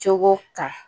Cogo kan